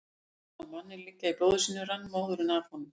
Þegar hann sá manninn liggja í blóði sínu rann móðurinn af honum.